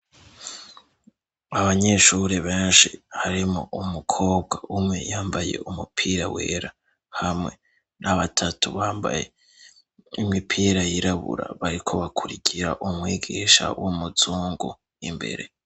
Abanyeshuri benshi harimwo umukobwa umwe yambaye umupira wera hamwe n'abatatu bambaye imipira yirabura bariko bakurikira umwigisha w'umuzungu imbere.